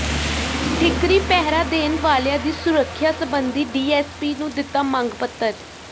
ਠੀਕਰੀ ਪਹਿਰਾ ਦੇਣ ਵਾਲਿਆਂ ਦੀ ਸੁਰੱਖਿਆ ਸੰਬਧੀ ਡੀਐਸਪੀ ਨੂੰ ਦਿੱਤਾ ਮੰਗ ਪੱਤਰ